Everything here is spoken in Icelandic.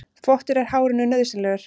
Þvottur er hárinu nauðsynlegur.